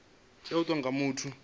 tea u itwa nga muthu